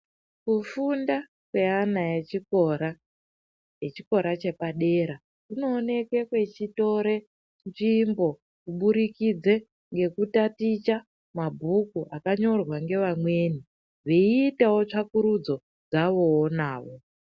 Kufunda kweana echikora echikora chepadera kunoonekwe kwechitore nzvimbo kuburikidze ngekutatiche mabhuku akanyorwa ngevamweni veiitawo tsvakurudzo dzawoo nawo.